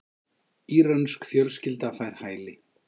Írönsk fjölskylda fær hæli